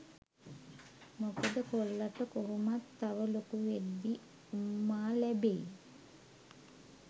මොකද කොල්ලට කොහොමත් තව ලොකු වෙද්දී උම්මා ලැබෙයි.